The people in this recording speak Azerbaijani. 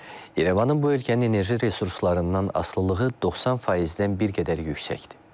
İrəvanın bu ölkənin enerji resurslarından asılılığı 90%-dən bir qədər yüksəkdir.